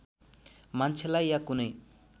मान्छेलाई या कुनै